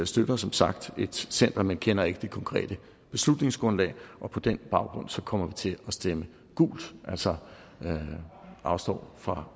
støtter som sagt et center men kender ikke det konkrete beslutningsgrundlag og på den baggrund kommer vi til at stemme gult altså afstå fra